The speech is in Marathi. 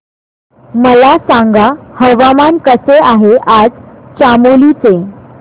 मला सांगा हवामान कसे आहे आज चामोली चे